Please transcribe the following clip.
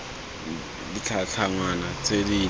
b ditlhangwa tse dileele tsa